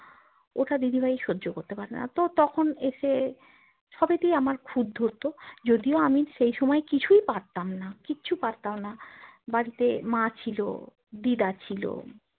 ওটা দিদিভাই সহ্য করতে পারেনা তো তখন এসে সবেতেই আমার খুঁত ধরতো যদিও আমি সেই সময় কিছুই পারতাম না কিচ্ছু পারতাম না বাড়িতে মা ছিল দিদা ছিল